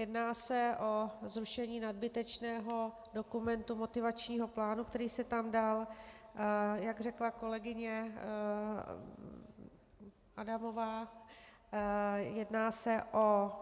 Jedná se o zrušení nadbytečného dokumentu motivačního plánu, který se tam dal, jak řekla kolegyně Adamová, jedná se o